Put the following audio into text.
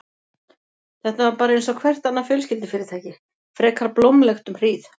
Þetta var bara einsog hvert annað fjölskyldufyrirtæki, frekar blómlegt um hríð.